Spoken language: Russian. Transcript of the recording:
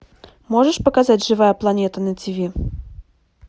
можешь показать живая планета на тв